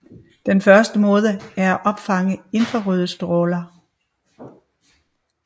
Den første måde er at opfange infrarøde stråler